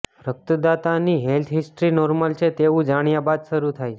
રકતદાતાની health history normal છે તેવું જાણ્યા બાદ શરૂ થાય છે